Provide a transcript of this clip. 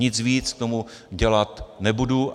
Nic víc k tomu dělat nebudu.